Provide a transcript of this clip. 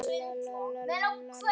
Ég á þrjú börn.